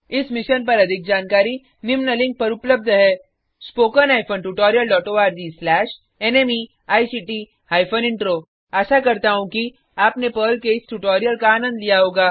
स मिशन पर अधिक जानकारी निम्न लिंक पर उपलब्ध है spoken hyphen tutorial dot ORG slash नमेक्ट हाइफेन इंट्रो आशा करता हूँ कि आपने पर्ल के इस ट्यूटोरियल का आनंद लिया होगा